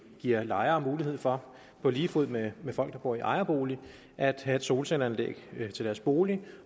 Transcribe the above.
giver lejere mulighed for på lige fod med folk der bor i ejerbolig at have et solcelleanlæg til deres bolig